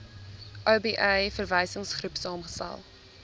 oba verwysingsgroep saamgestel